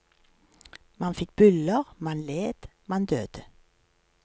Man fikk byller, man led, man døde.